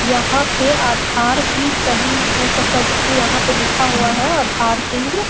यहाँ पे आधार भी सही हो सकता है क्यूंकी यहाँ पे लिखा हुआ है आधार केंद्र।